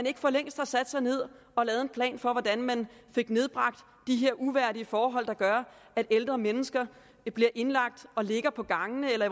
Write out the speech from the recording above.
ikke for længst sat sig ned og lavet en plan for hvordan man fik nedbragt de her uværdige forhold der gør at ældre mennesker bliver indlagt og ligger på gangene eller